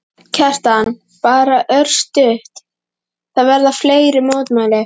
Kjartan: Bara örstutt, það verða fleiri mótmæli?